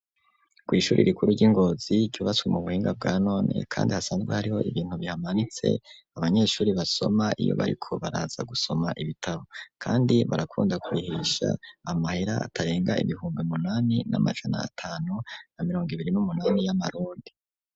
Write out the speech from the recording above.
Kw'ishuri rikuru, ry'i Ngozi, ryubatswe mu buhinga, bwa none, kandi hasanzwe hariho, ibintu bihamanitse, abanyeshuri basoma, iyo bariko baraza gusoma, ibitabo; kandi barakunda kurihisha amahera, atarenga, ibihumbi munani, n'amajana atanu, na mirongo ibiri n'umunani, y'amarundi.